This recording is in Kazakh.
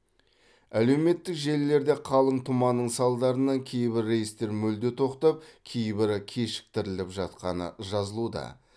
әлеуметтік желілерде қалың тұманның салдарынан кейбір рейстер мүлде тоқтап кейбірі кешіктіріліп жатқаны жазылуда